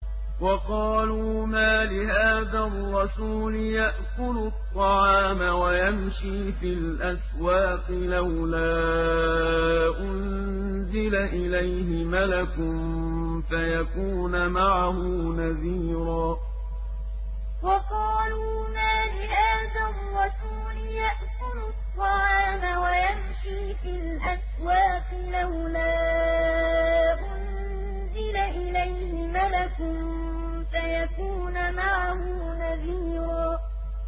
وَقَالُوا مَالِ هَٰذَا الرَّسُولِ يَأْكُلُ الطَّعَامَ وَيَمْشِي فِي الْأَسْوَاقِ ۙ لَوْلَا أُنزِلَ إِلَيْهِ مَلَكٌ فَيَكُونَ مَعَهُ نَذِيرًا وَقَالُوا مَالِ هَٰذَا الرَّسُولِ يَأْكُلُ الطَّعَامَ وَيَمْشِي فِي الْأَسْوَاقِ ۙ لَوْلَا أُنزِلَ إِلَيْهِ مَلَكٌ فَيَكُونَ مَعَهُ نَذِيرًا